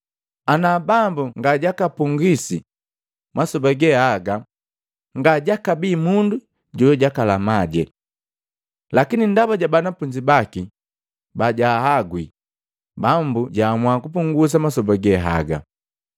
Ana Bambu ngajakapungwisi masoba ge aga ngajakabii mundu jojakalamaje. Lakini ndaba ja banafunzi baki ba jwaagwi, Bambu jaamua kupungusa masoba ge haga.